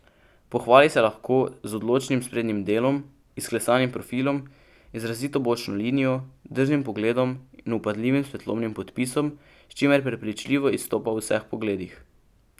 Pohvali se lahko z odločnim sprednjim delom, izklesanim profilom, izrazito bočno linijo, drznim pogledom in vpadljivim svetlobnim podpisom, s čimer prepričljivo izstopa v vseh pogledih.